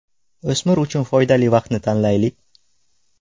O‘smir uchun foydali vaqtni tanlaylik.